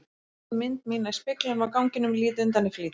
Sé mynd mína í speglinum á ganginum, lít undan í flýti.